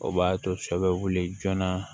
O b'a to sɔ bɛ wuli joona